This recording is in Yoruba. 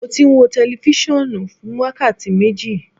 Mo ti n wo tẹlifisiọnu fun wakati meji